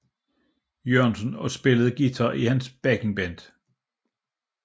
Jørgensen og spillede guitar i hans backing band